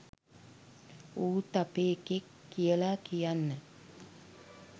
ඌත් අපේ එකෙක් කියලා කියන්න